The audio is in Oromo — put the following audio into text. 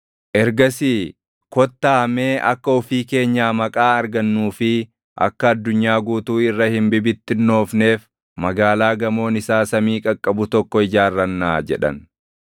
Ergasii, “Kottaa mee akka ofii keenyaa maqaa argannuu fi akka addunyaa guutuu irra hin bibittinnoofneef magaalaa gamoon isaa samii qaqqabu tokko ijaarrannaa” jedhan.